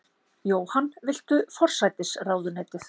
Jóhann: Viltu forsætisráðuneytið?